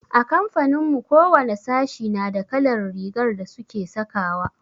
A kamfanin mu kowane sashi nada kalar rigar da suke sakawa.